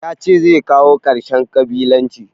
Ya ce zai kawo ƙarshen ƙabilanci.